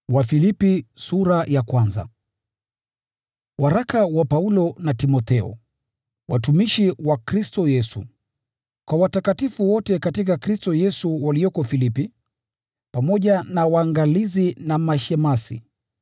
Waraka wa Paulo na Timotheo, watumishi wa Kristo Yesu: Kwa watakatifu wote katika Kristo Yesu walioko Filipi, pamoja na waangalizi na mashemasi: